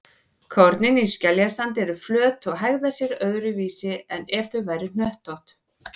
Kornin í skeljasandi eru flöt og hegða sér öðruvísi en ef þau væru hnöttótt.